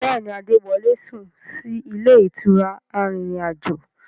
Bẹ́ẹ̀ni, Adé wọlé sún sì ilé ìtura arìnrìn-àjò.